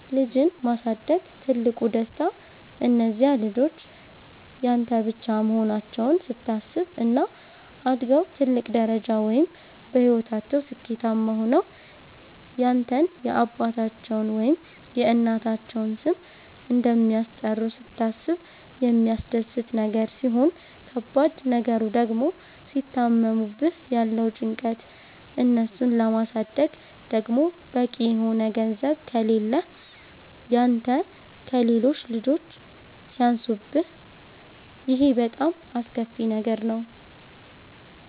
ልጅን ማሳደግ ትልቁ ደስታ እነዚያ ልጆች ያንተ ብቻ መሆናቸዉን ስታስብ፣ እና አድገዉ ትልቅ ደረጃ ወይም በህይወታቸዉ ስኬታማ ሆነዉ ያንተን የአባታቸዉን ወይም የእናታቸዉን ስም እንደሚያስጠሩ ስታስብ የሚያስደስት ነገር ሲሆን ከባድ ነገሩ ድግሞ ሲታመሙብህ ያለዉ ጭንቀት፣ እነሱን ለማሳደግ ደግሞ በቂ የሆነ ገንዘብ ከሌህ ያንተ ከሌሎች ልጆች ሲያንሱብህ ይሄ በጣም አስከፊ ነገር ነዉ።